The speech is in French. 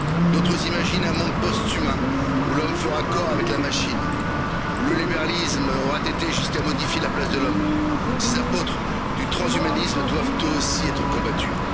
D'autres imaginent un monde post humain où l'homme fera corps avec la machine, où le libéralisme aura été jusqu'à modifier la place de l'homme ces apôtres du transhumanisme doivent eux aussi être combattus.